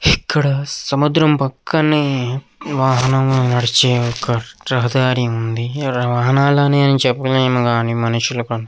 ఇక్కడ సముద్రం పక్కనే వాహనములు నడిచే ఒక రహదారి ఉంది. ఇక్కడ వాహనాలు అని ఎం చెప్పలేము గాని మనుషులకు --